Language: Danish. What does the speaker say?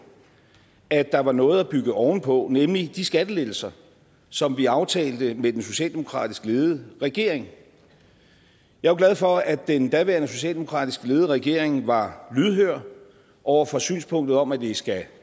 at der var noget at bygge ovenpå nemlig de skattelettelser som vi aftalte med den socialdemokratisk ledede regering jeg er glad for at den daværende socialdemokratisk ledede regering var lydhør over for synspunktet om at det skal